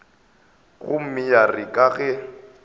gomme ya re ka ge